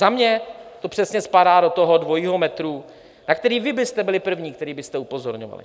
Za mě to přesně spadá do toho dvojího metru, na který vy byste byli první, kteří byste upozorňovali.